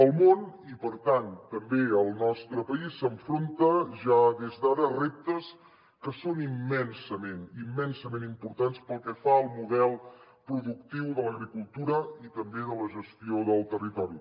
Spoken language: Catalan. el món i per tant també el nostre país s’enfronta ja des d’ara a reptes que són immensament immensament importants pel que fa al model productiu de l’agricultura i també de la gestió del territori